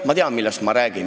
Ma tean, millest ma räägin.